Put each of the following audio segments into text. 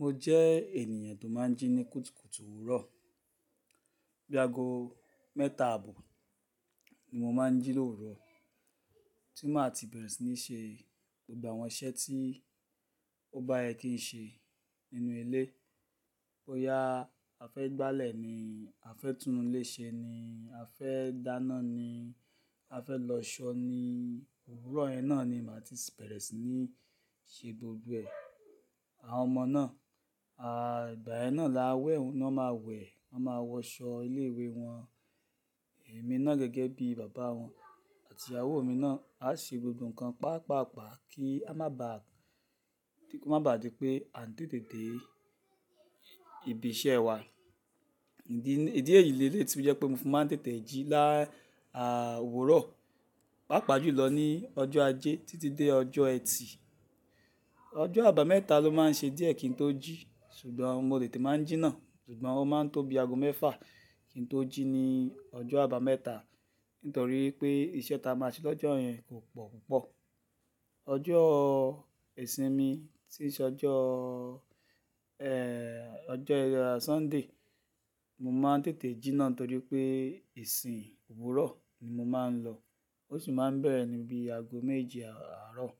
Mo jẹ́ ènìyàn tó máa ń jí ní kùtùkùtù òwúrọ̀. Bí ago mẹ́ta àbò ni mo máa ń jí lówurò, tí màá ti bẹ̀rẹ̀ sí ní ṣe gbogbo àwọn iṣẹ́ tí ó bá yẹ kí n ṣe nínú ilé. Boyá, a fẹ́ gbálẹ̀ ni, a fẹ́ tún ilé ṣe ni, a fẹ́ dáná ni, a fẹ́ lọ ṣọ́ ni, òwúrọ̀ yẹn náà ni màá ti bẹ̀rẹ̀ sí ní ṣe gbogbo ẹ̀. Àwọn ọmọ náà, à igbà yẹn náà là á wẹ̀, wọn máa wẹ̀, wọn máa wọ aṣọ ilé-ìwé wọn. Ẹ̀mí náà gẹ́gẹ́ bí bàbá wọn àti ìyàwó mí náà á ṣe gbogbo ǹkan pàápàá, kí a má bà á di pé a ń tètè dé ibi iṣẹ́ wa. Ìdí èyí le lé tí ó jẹ́ pé mo fi máa ń tètè jí láà òwúrọ̀, pàápàá jùlọ ní ọjọ́ ajé títí dé ọjọ́ ẹtì. Ọjọ́ àbámẹ́ta ló máa ń ṣe díẹ̀ kí n tó jí, ṣùgbọ́n mo tètè máa ń jí náà, ṣùgbọ́n ó máa ń tó bí ago mẹ́fà kí n tó jí ní ọjọ́ àbámẹ́ta nítorí pé iṣẹ́ tí a máa ṣe lọ́jọ́ yẹn kò pọ̀ púpọ̀. Ọjọ́ ìsinmi tí se ọjọ́, ẹ́ẹ́, ọjọ́ Sunday, mo máa ń tètè jí náà torí pé ìsìn òwúrọ̀ ni mo máa ń lọ, ó sì máa ń bẹ̀rẹ̀ níbí ago méje àárọ̀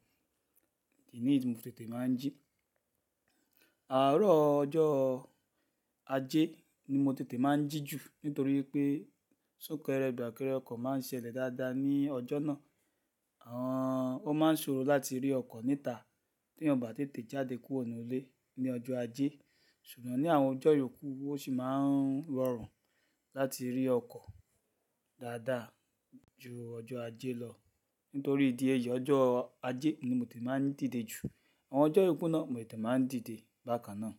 idì níyi tí mo fi tètè máa ń jí. Àárọ̀ ọjọ́ ajé ni mo tètè máa ń jí jù nítorí pé sunkẹ́rẹ́, fàkẹrẹ́ ọkọ̀ máa ń ṣẹlẹ̀ dáadáa ní ọjọ́ náà. Ehn, ó máa ń ṣòro láti rí ọkọ̀ níta tí èèyàn ò bá tètè jáde kúrò nínú ilé ní ọjọ́ ajé. Ṣùgbọ́n ní àwọn ọjọ́ ìyókù ó sì máa ń rọrùn láti rí ọkọ̀ dáadáa ju ọjọ́ ajé lọ nítorí ìdí èyí, ọjọ́ ajé ni mo tètè máa ń dìde jù. Àwọn ọjọ́ ìyókù náà mo tètè máa ń dìde bákan náà.